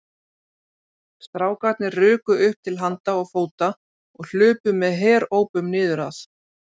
Strákarnir ruku upp til handa og fóta og hlupu með herópum niður að